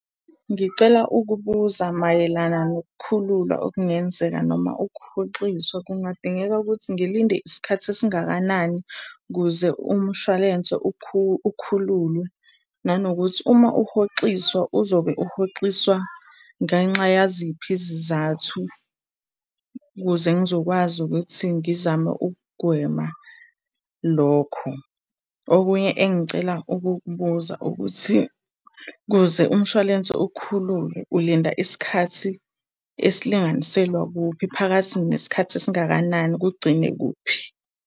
Ngicela ukubuza mayelana nokukhululwa okungenzeka noma ukuhoxiswa. Kungadingeka ukuthi ngilinde isikhathi esingakanani ukuze umshwalense ukhululwe? Nanokuthi uma uhoxiswa uzobe uhoxiswa ngenxa yaziphi izizathu ukuze ngizokwazi ukuthi ngizame ukugwema lokho? Okunye engicela ukukubuza ukuthi ukuze umshwalense ukhululwe ulinda isikhathi esilinganiselwa kuphi, phakathi nesikhathi esingakanani, kugcine kuphi?